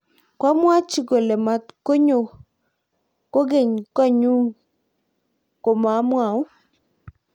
koamwochi kole matukunyo kukenykotnyu ko mamwou